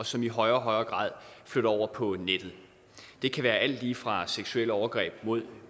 som i højere og højere grad flytter over på nettet det kan være alt lige fra seksuelle overgreb mod